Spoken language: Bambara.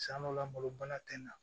San dɔ la malo bana tɛna